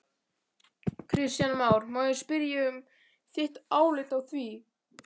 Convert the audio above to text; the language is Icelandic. Kristján Már: Má ég spyrja um þitt álit á því?